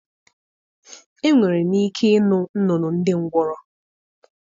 Enwere m ike ịnụ nnụnụ ndị ngwọrọ.